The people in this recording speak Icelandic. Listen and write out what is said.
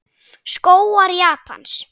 Skógar Japans